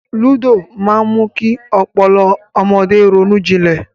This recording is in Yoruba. Ayò máa mú kí ọpọlọ ọmọdé ronújinlè